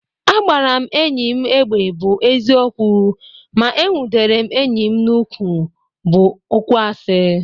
Agbara m enyi egbe bụ eziokwu ma enwudere m enyi n m'ukwu bụ okwuasi